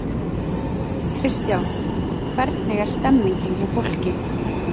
Kristján: Hvernig er stemmningin hjá fólki?